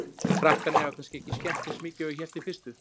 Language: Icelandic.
Krakkarnir hafa kannski ekki skemmt eins mikið og ég hélt í fyrstu.